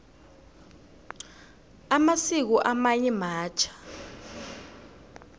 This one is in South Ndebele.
amasiko amanye matjha